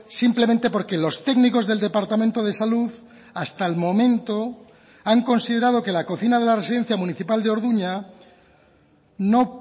simplemente porque los técnicos del departamento de salud hasta el momento han considerado que la cocina de la residencia municipal de orduña no